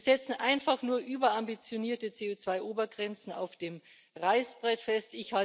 Wir setzen einfach nur überambitionierte CO2 Obergrenzen auf dem Reißbrett fest.